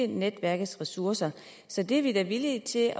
netværkets ressourcer så det er vi da villige til at